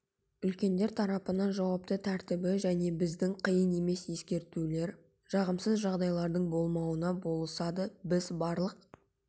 үлкендер тарапынан жауапты тәртібі және біздің қиын емес ескертулер жағымсыз жағдайлардың болдырмауына болысады біз барлық